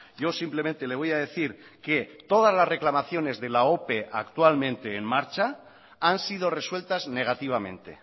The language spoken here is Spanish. yo simplemente le voy a decir que todas las reclamaciones de la ope actualmente en marcha han sido resueltas negativamente